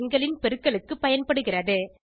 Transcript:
இரு எண்களின் பெருக்கலுக்கு பயன்படுகிறது